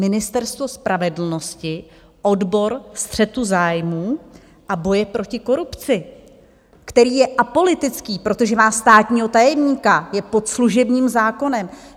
Ministerstvo spravedlnosti, odbor střetu zájmů a boje proti korupci, který je apolitický, protože má státního tajemníka, je pod služebním zákonem.